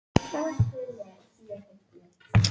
Það þarf enginn að bjóða sig fram.